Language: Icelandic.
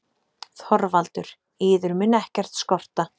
ÞORVALDUR: Yður mun ekkert skorta.